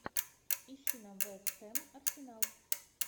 ищи нам вест хэм арсенал